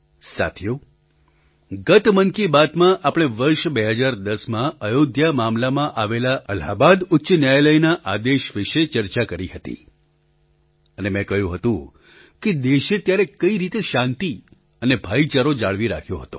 સાથીઓ ગત મન કી બાતમાં આપણે વર્ષ ૨૦૧૦માં અયોધ્યા મામલામાં આવેલા અલાહાબાદ ઉચ્ચ ન્યાયાલયના આદેશ વિશે ચર્ચા કરી હતી અને મેં કહ્યું હતું કે દેશે ત્યારે કઈ રીતે શાંતિ અને ભાઈચારો જાળવી રાખ્યો હતો